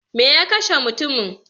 Me ya kashe mutumin?